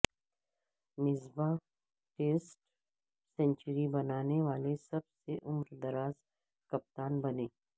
Misbah test century بنانے والے سب سے عمر دراز کپتان بنے